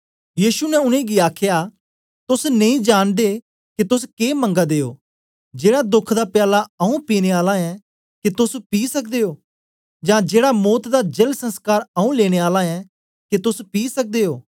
यीशु ने उनेंगी आखया तोस नेई जांनदे के तोस के मंगा दे ओ जेड़ा दोख दा प्याला आऊँ पीने आला ऐं के तोस पी सकदे ओ यां जेड़ा मौत दा जल संस्कार आऊँ लेने आला ऐं के तोस पी सकदे ओ